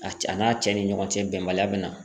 A cɛ a n'a cɛ ni ɲɔgɔn cɛ bɛnbaliya bi na.